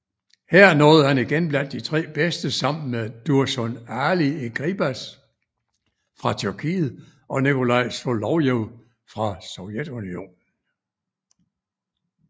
Her nåede han igen blandt de tre bedste sammen med Dursun Ali Eğribaş fra Tyrkiet og Nikolaj Solovjov fra Sovjetunionen